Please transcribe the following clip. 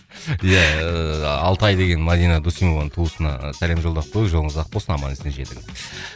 иә ыыы алтай деген мадина досымованың туысына сәлем жолдап қояйық жолыңыз ақ болсын аман есен жетіңіз